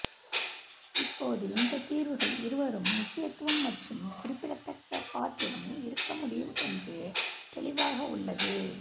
இப்போது இந்தத் தீர்வுகள் இருவரும் முக்கியத்துவம் மற்றும் குறிப்பிடத்தக்க பாத்திரம் இருக்க முடியும் என்று தெளிவாக உள்ளது